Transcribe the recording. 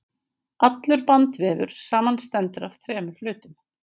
allur bandvefur samanstendur af þremur hlutum